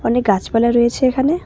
অনেক গাছপালা রয়েছে এখানে।